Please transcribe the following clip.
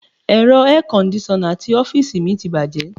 Ẹ̀rọ air kondisona ti ọ́fíìsì mi ti bàjẹ́.